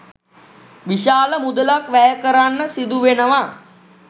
විශාල මුදලක් වැය කරන්න සිදු වෙනවා.